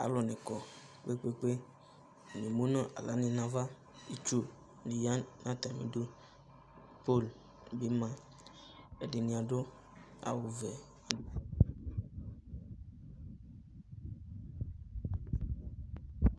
Alu ne kɔ kpekpe, Atane emu no ala ne nava Itsu de ya no atame du, Pol de be maƐdene ado awuvɛ